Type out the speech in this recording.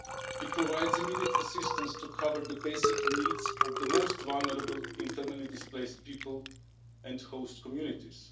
It provides immediate assistance to cover the basic needs of the most vulnerable internally displaced people and host communities.